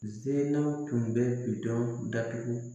Zennaw tun bɛ bi dɔn datugu